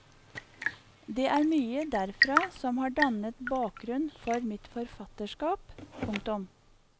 Det er mye derfra som har dannet bakgrunn for mitt forfatterskap. punktum